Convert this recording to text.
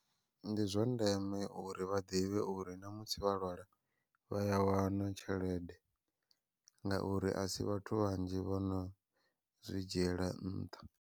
Ndi zwa ndeme uri vha ḓivhe uri namusi vha lwala, vha ya wana tshelede ngauri asi vhathu vhanzhi vhono zwi dzhiela nṱha.